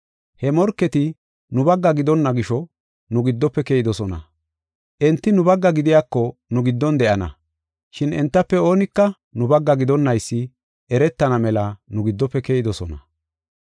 He morketi nu bagga gidonna gisho nu giddofe keyidosona. Enti nu bagga gidiyako nu giddon de7ana, shin entafe oonika nu bagga gidonnaysi eretana mela nu giddofe keyidosona.